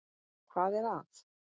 . hvað er að.